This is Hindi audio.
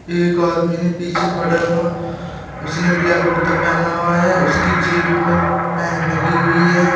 एक आदमी ने पीछे खड़ा हुआ उसने ब्लैक कुर्ता पहना हुआ है उसकी जेब में पेन लगी हुई है।